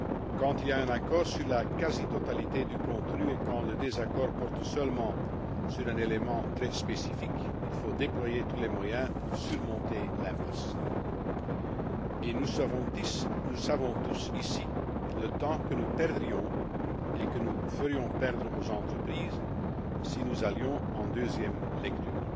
Quand il y a un accord sur la quasi totalité du contenu et quand le désaccord porte seulement sur un élément très spécifique, il faut déployer tous les moyens pour sortir de l'impasse. Nous commes tous conscients, ici, du temps que nous perdrions et que nous ferions perdre aux entreprises si nous allions en deuxième lecture.